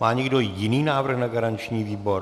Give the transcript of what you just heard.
Má někdo jiný návrh na garanční výbor?